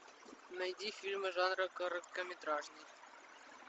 найди фильмы жанра короткометражный